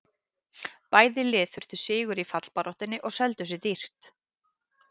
Bæði lið þurftu sigur í fallbaráttunni og seldu sig dýrt.